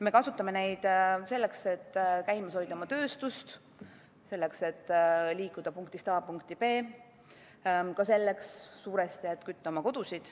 Me kasutame neid selleks, et käimas hoida oma tööstust; selleks, et liikuda punktist A punkti B; suuresti ka selleks, et kütta oma kodu.